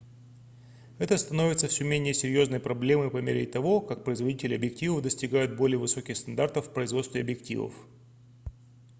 это становится всё менее серьёзной проблемой по мере того как производители объективов достигают более высоких стандартов в производстве объективов